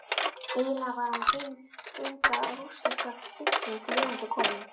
Eiginlega var hann hin unga rússneska bylting lifandi komin.